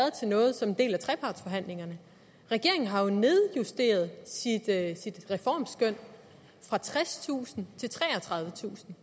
som en del af trepartsforhandlingerne regeringen har jo nedjusteret sit reformskøn fra tredstusind til treogtredivetusind